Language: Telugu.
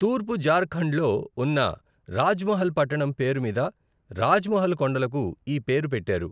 తూర్పు జార్ఖండ్లో ఉన్న రాజ్మహల్ పట్టణం పేరు మీద రాజ్మహల్ కొండలకు ఈ పేరు పెట్టారు.